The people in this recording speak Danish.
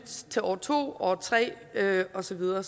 til år to år tre og så videre og